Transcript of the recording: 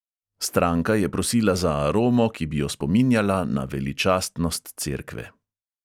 Stranka je prosila za aromo, ki bi jo spominjala na veličastnost cerkve.